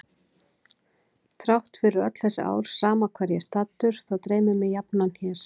Þrátt fyrir öll þessi ár sama hvar ég er staddur þá dreymir mig jafnan hér.